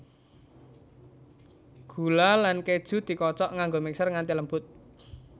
Gula lan keju dikocok nganggo mixer nganti lembut